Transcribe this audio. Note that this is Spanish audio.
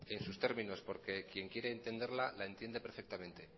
en sus términos porque quien quiere entenderla la entiende perfectamente